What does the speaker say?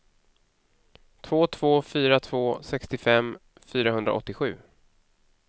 två två fyra två sextiofem fyrahundraåttiosju